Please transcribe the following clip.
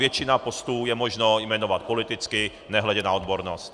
Většinu postů je možno jmenovat politicky, nehledě na odbornost.